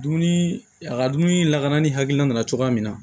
Dumuni a ka dumuni lakana ni hakilina nana cogoya min na